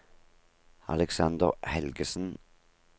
Aleksander Helgesen